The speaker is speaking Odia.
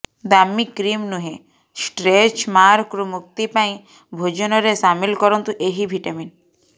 ଦାମୀ କ୍ରିମ୍ ନୁହେଁ ଷ୍ଟ୍ରେଚ୍ ମାର୍କରୁ ମୁକ୍ତି ପାଇଁ ଭୋଜନରେ ସାମିଲ କରନ୍ତୁ ଏହି ଭିଟାମିନ୍